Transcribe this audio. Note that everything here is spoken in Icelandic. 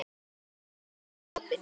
Messan er öllum opin.